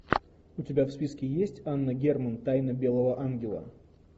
у тебя в списке есть анна герман тайна белого ангела